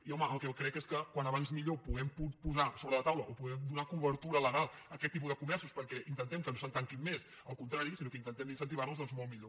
i home el que crec és que com abans puguem posar sobre la taula o puguem donar cobertura legal a aquest tipus de comerços perquè intentem que no se’n tanquin més al contrari sinó que intentem incentivar nos doncs molt millor